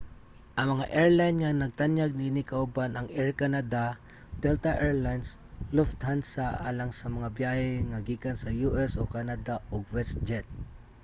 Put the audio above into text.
ang mga airline nga nagtanyag niini kauban ang air canada delta air lines lufthansa alang sa mga byahe nga gikan sa u.s. o canada ug westjet